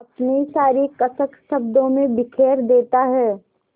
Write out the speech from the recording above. अपनी सारी कसक शब्दों में बिखेर देता है